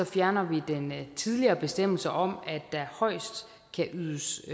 fjerner vi den tidligere bestemmelse om at der højst kan ydes